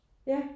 Ja